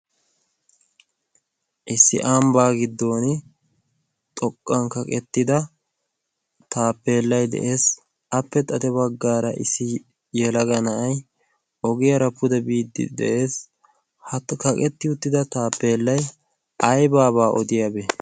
issi amibaa giddon xoqqan kaqettida taappeellay de'ees appe xate waggaara issi yalaga na'ay ogiyaara pude biiddi de'ees ha kaqetti uttida taappeellay aybaabaa odiyaabee